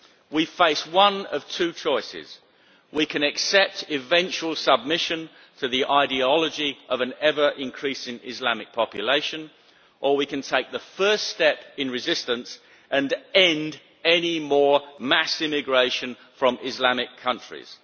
We face one of two choices we can accept eventual submission to the ideology of an ever increasing Islamic population, or we can take the first step in resistance and end any more mass immigration from Islamic countries.